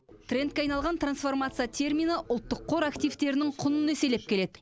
трендке айналған трансформация термині ұлттық қор активтерінің құнын еселеп келеді